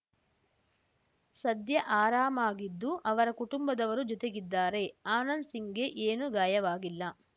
ಸದ್ಯ ಆರಾಮಗಿದ್ದು ಅವರ ಕುಟುಂಬದವರೂ ಜೊತೆಗಿದ್ದಾರೆ ಆನಂದ್‌ ಸಿಂಗ್‌ಗೆ ಏನೂ ಗಾಯವಾಗಿಲ್ಲ